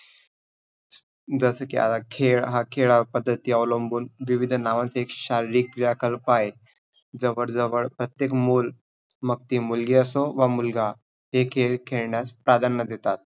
जस की आता खेळ, हा खेळ पद्धतीवर अवलंबून विविध नावांचे एक शारीरिक क्रियाकलपं आहेत. जवळ जवळ प्रत्येक मूल मग ती मुलगी असो व मुलगा हे खेळ खेळण्यास प्राधान्य देतात.